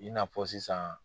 I n'a fɔ sisan